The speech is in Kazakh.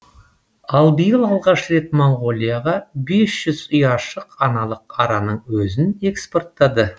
ал биыл алғаш рет моңғолияға бес жүз ұяшық аналық араның өзін экспорттады